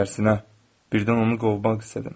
Tərsinə birdən onu qovmaq istədim.